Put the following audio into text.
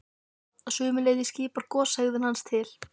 Að sumu leyti svipar goshegðun hans til